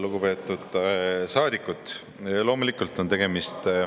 Lugupeetud saadikus!